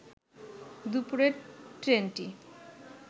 দুপুরে ট্রেনটি